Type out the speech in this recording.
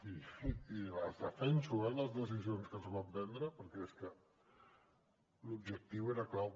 i les defenso eh les decisions que es van prendre perquè és que l’objectiu era clau